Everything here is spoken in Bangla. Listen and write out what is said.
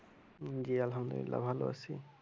জি আলহামদুলিল্লাহ ভালো আছি